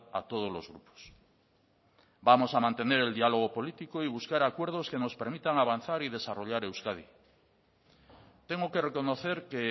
a todos los grupos vamos a mantener el diálogo político y buscar acuerdos que nos permitan avanzar y desarrollar euskadi tengo que reconocer que